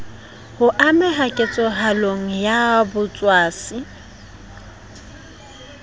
ho ameha ketsahalong ya botshwasi